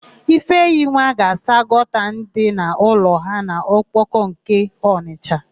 Ifeyinwa ga-asa gọta dị n'ụlọ ha n'Okpoko nke Ọnịsha.